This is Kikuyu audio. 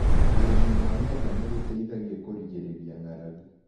ũrĩmi wa mĩanga nĩgũteithagia kũrigĩrĩria ngaragu.